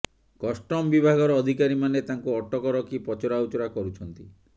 custom ବିଭାଗର ଅଧିକାରୀମାନେ ତାଙ୍କୁ ଅଟକ ରଖି ପଚରାଉଚରା କରୁଛନ୍ତି